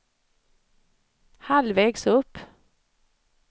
halvvägs upp